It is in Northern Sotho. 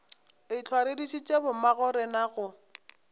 ehlwa re dišitše bommagorena go